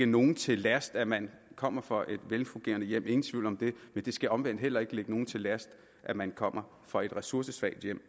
nogen til last at man kommer fra et velfungerende hjem ingen tvivl om det men det skal omvendt heller ikke nogen til last at man kommer fra et ressourcesvagt hjem